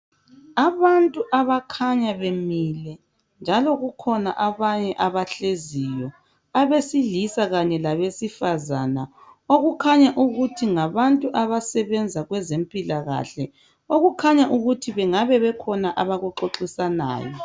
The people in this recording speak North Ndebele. abantu abakhanya bemile njalokukhona abanye abakhanya behleli abesilisa labesifazana okukhanya ukuthi ngabantu abasebenza kwezempilakahle okukhanya ukuthi bengabe bekhona abaku xoxisanayo